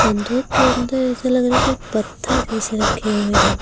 संदूक के अंदर ऐसा लग रहा है जैसे पत्थर जैसे रखे हुए हैं।